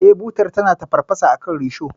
Eh, butar tana tafarfasa akan risho.